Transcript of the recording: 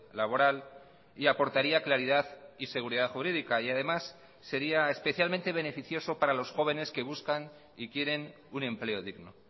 laboral y aportaría claridad y seguridad jurídica y además sería especialmente beneficioso para los jóvenes que buscan y quieren un empleo digno